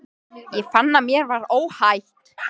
Ég fann að mér var óhætt.